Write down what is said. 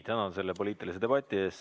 Tänan selle poliitilise debati eest!